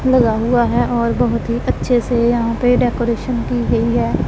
लगा हुआ है और बहोत ही अच्छे से यहां पे डेकोरेशन की गई है।